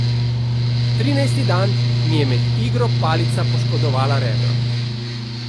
Trinajsti dan mi je med igro palica poškodovala rebro.